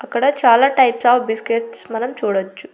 అక్కడ చాలా types of biscuits మనం చూడచ్చు.